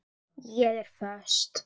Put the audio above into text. Ég er föst.